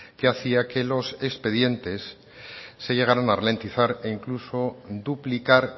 que hacía que los expedientes se llegarán a ralentizar e incluso duplicar